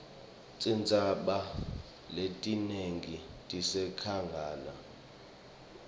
tintsaba letinengi tisenkhangala